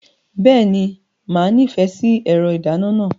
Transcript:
Bẹ́ẹ̀ni, màá nífẹ̀ẹ́ sí ẹ̀rọ ìdáná náà.